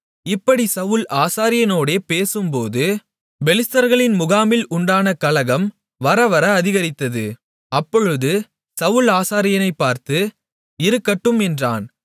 இப்படிச் சவுல் ஆசாரியனோடே பேசும்போது பெலிஸ்தர்களின் முகாமில் உண்டான கலகம் வரவர அதிகரித்தது அப்பொழுது சவுல் ஆசாரியனைப் பார்த்து இருக்கட்டும் என்றான்